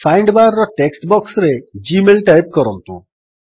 find bar text ବକ୍ସରେ Gmail type କରନ୍ତୁ